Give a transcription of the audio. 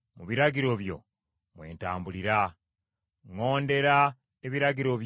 Ŋŋondera ebiragiro byo, mbyagala nnyo nnyini.